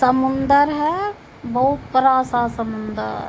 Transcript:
समुन्दर है बहुत बड़ा सा समुन्दर।